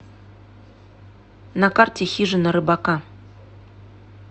на карте хижина рыбака